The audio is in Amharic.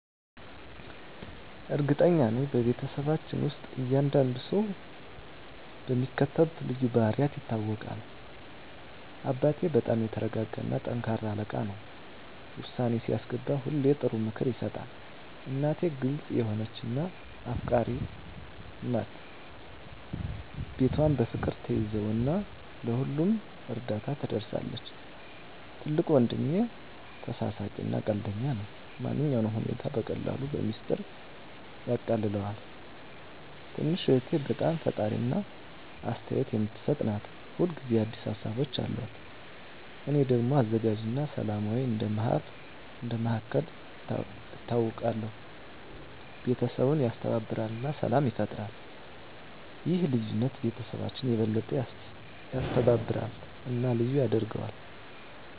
እርግጠኛ ነኝ፤ በቤተሰባችን ውስጥ እያንዳንዱ ሰው በሚከተሉት ልዩ ባህሪያት ይታወቃል - አባቴ በጣም የተረጋጋ እና ጠንካራ አለቃ ነው። ውሳኔ ሲያስገባ ሁሌ ጥሩ ምክር ይሰጣል። **እናቴ** ግልጽ የሆነች እና አፍቃሪች ናት። ቤቷን በፍቅር ትያዘው እና ለሁሉም እርዳታ ትደርሳለች። **ትልቁ ወንድሜ** ተሳሳቂ እና ቀልደኛ ነው። ማንኛውንም ሁኔታ በቀላሉ በሚስጥር ያቃልለዋል። **ትንሹ እህቴ** በጣም ፈጣሪ እና አስተያየት የምትሰጥ ናት። ሁል ጊዜ አዲስ ሀሳቦች አሉት። **እኔ** ደግሞ አዘጋጅ እና ሰላማዊ እንደ መሃከል ይታወቃለሁ። ቤተሰቡን ያስተባብራል እና ሰላም ይፈጥራል። ይህ ልዩነት ቤተሰባችንን የበለጠ ያስተባብራል እና ልዩ ያደርገዋል።